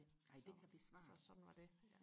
nej blive svært ja